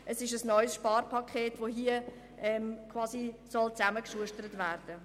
Also soll hier ein neues Sparpaket zusammengeschustert werden.